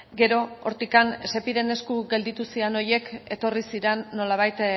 gero hortik sepiren esku gelditu zian horiek etorri ziren nolabait